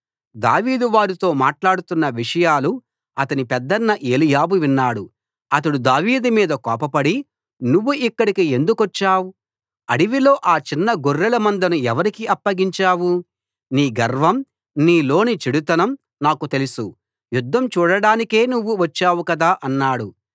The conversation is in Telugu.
దావీదు వారితో మాట్లాడుతున్న విషయాలు అతని పెద్దన్న ఏలీయాబు విన్నాడు అతడు దావీదు మీద కోపపడి నువ్వు ఇక్కడికి ఎందుకొచ్చావు అడవిలో ఆ చిన్న గొర్రెల మందను ఎవరికి అప్పగించావు నీ గర్వం నీలోని చెడుతనం నాకు తెలుసు యుద్ధం చూడడానికే నువ్వు వచ్చావు కదా అన్నాడు